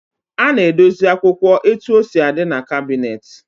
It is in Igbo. A na-edosi akwụkwọ etu o si adị n'kabịnetị.